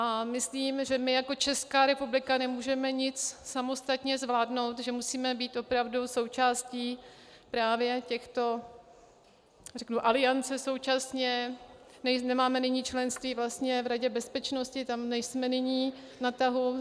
A myslím, že my jako Česká republika nemůžeme nic samostatně zvládnout, že musíme být opravdu součástí právě těchto, řeknu, aliancí současně, nemáme nyní členství v Radě bezpečnosti, tam nejsme nyní na tahu.